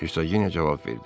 Ersaqinya cavab verdi.